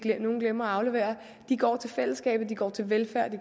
glemmer at aflevere går til fællesskabet at de går til velfærd